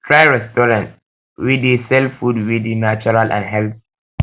try restaurant wey dey sell food wey dey natural and healthy